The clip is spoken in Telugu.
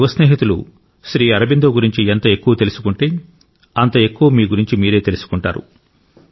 నా యువ స్నేహితులు శ్రీ అరబిందో గురించి ఎంత ఎక్కువ తెలుసుకుంటే అంత ఎక్కువ మీ గురించి మీరే తెలుసుకుంటారు